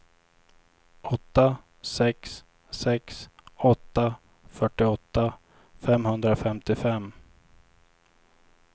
åtta sex sex åtta fyrtioåtta femhundrafemtiofem